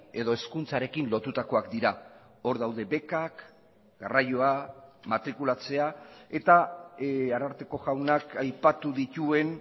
edo hezkuntzarekin lotutakoak dira hor daude bekak garraioa matrikulatzea eta ararteko jaunak aipatu dituen